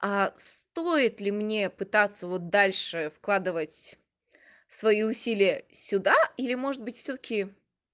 стоит ли мне пытаться вот дальше вкладывать свои усилия сюда или может быть всё-таки